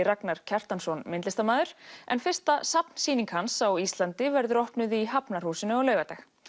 Ragnar Kjartansson myndlistarmaður en fyrsta hans á Íslandi verður opnuð í Hafnarhúsinu á laugardag